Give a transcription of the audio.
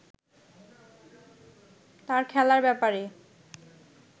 তার খেলার ব্যাপারে